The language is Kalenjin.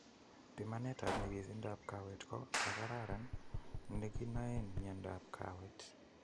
Bimanet ab nyikisindab kaweet ko nekaran nekinoeen mieindab kaweet